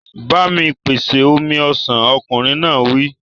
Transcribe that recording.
Ba mi pèsè omi ọsàn! Ọkùnrin náà wí.